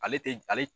Ale tɛ ale